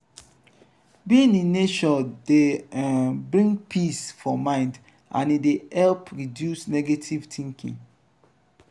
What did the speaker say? being in nature dey um bring peace for mind and e de help reduce negative thinking